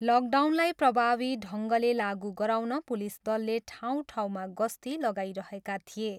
लकडाउनलाई प्रभावी ढङ्गले लागु गराउन पुलिस दलले ठाउँ ठाउँमा गस्ती लगाइरहेका थिए।